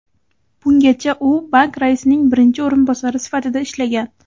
Bungacha u bank raisining birinchi o‘rinbosari sifatida ishlagan.